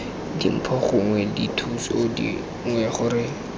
dimpho gongwe dithuso dingwe gore